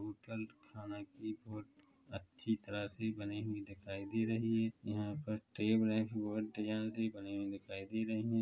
Hotel खाने का बहोत अच्छी तरह से बने हुए दिखाई दे रहे है यहाँ पर डिजाइन भी बने हुए दिखाई दे रहे है।